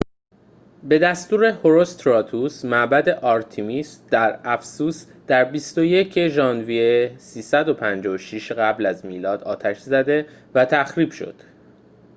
به دستور هروستراتوس معبد آرتمیس در افسوس در ۲۱ ژوئیه ۳۵۶ قبل از میلاد آتش زده و تخریب شد